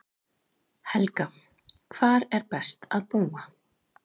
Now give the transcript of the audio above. Helga: Hvar er best að búa?